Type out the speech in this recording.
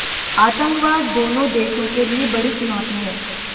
आतंकवाद दोनों देशों के लिए बड़ी चुनौती है